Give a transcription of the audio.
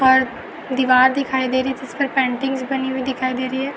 और दिवार दिखाई दे रही है जिसपर पेंटिंग्स बनी दिखाई दे रही है।